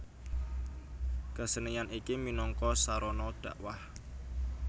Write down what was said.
Kesenian iki minangka sarana dhakwah